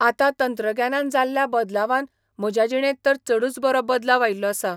आतां तंत्रग्यानान जाल्ल्या बदलावान म्हज्या जिणेंत तर चडूच बरो बदलाव आयिल्लो आसा.